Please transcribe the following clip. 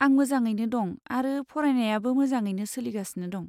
आं मोजाङैनो दं आरो फरायनायाबो मोजाङैनो सोलिगासिनो दं।